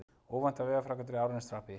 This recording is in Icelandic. Óvæntar vegaframkvæmdir í Árneshreppi